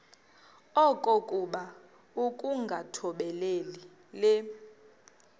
okokuba ukungathobeli le